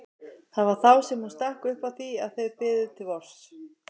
Það var þá sem hún stakk upp á því að þau biðu til vors.